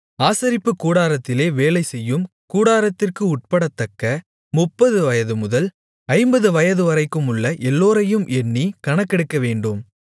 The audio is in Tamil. ஆசரிப்புக் கூடாரத்திலே வேலைசெய்யும் கூட்டத்திற்கு உட்படத்தக்க முப்பது வயது முதல் ஐம்பது வயதுவரைக்குமுள்ள எல்லோரையும் எண்ணி கணக்கெடுக்கவேண்டும்